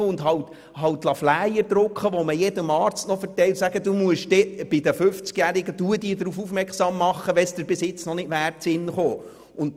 Drucken Sie mit dem Geld halt Flyer, die man jedem Arzt verteilen kann und der besagt, der Arzt müsse die 50-jährigen darauf aufmerksam machen, falls es ihm bis jetzt noch nicht in den Sinn gekommen wäre.